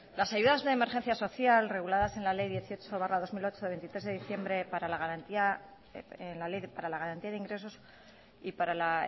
las ayudas de emergencia social reguladas en la ley dieciocho barra dos mil ocho del veintitrés de diciembre para la garantía de ingresos y para la